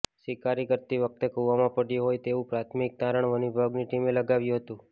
શિકાર કરતી વખતે કુવામાં પડ્યો હોય તેવું પ્રાથમિક તારણ વન વિભાગની ટીમે લગાવ્યું હતું